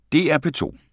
DR P2